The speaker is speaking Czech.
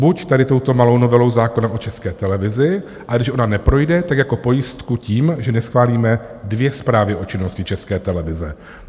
Buď tady touto malou novelou zákona o České televizi, a když ona neprojde, tak jako pojistku tím, že neschválíme dvě zprávy o činnosti České televize.